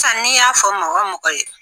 San n'i y'a fɔ mɔgɔ mɔgɔ ye.